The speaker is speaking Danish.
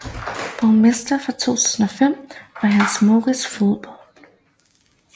Borgmester fra 2005 var Hans Mourits Foldbo